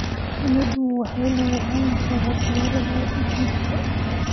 Shinida waxaa lagu hayn karaa beeraha digirta.